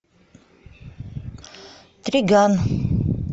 триган